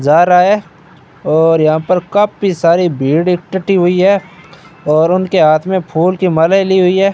जा रहा है और यहां पर काफी सारी भीड़ इकट्ठी हुई है और उनके हाथ में फूल कि मालाएं ली हुई है।